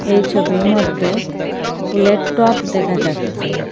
এই ছবির মদ্যে ফুলের টব দেখা যাচ্ছে।